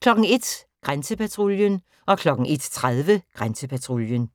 01:00: Grænsepatruljen 01:30: Grænsepatruljen